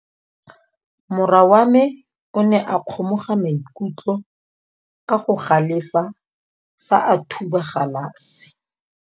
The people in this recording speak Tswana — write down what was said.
Morwa wa me o ne a kgomoga maikutlo ka go galefa fa a thuba galase.